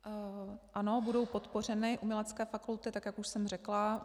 Ano, budou podpořeny umělecké fakulty, tak jak už jsem řekla.